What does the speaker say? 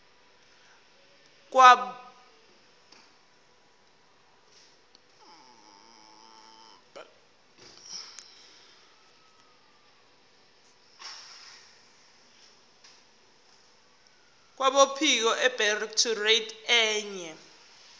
kwabophiko abedirectorate ye